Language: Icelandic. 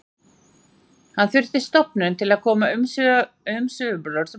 Hann þurfti stofnun til að koma umsvifum sínum á fastan grundvöll.